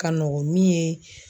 Ka nɔgɔn min ye.